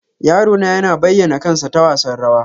Yaro na yana bayyana kansa ta wasan rawa.